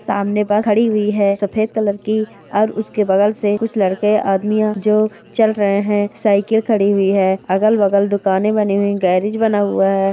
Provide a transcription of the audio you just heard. सामने बस खड़ी हुई है सफ़ेद कलर की और उसके बगल से कुछ लड़के आदमियों जो चल रहे हैं साइकिल खड़ी हुई है अगल-बगल दुकानें बनी हुई गेराज बना हुआ है।